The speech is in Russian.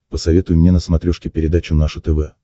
посоветуй мне на смотрешке передачу наше тв